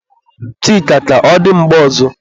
Chika, ka ọ dị mgbe ọzọ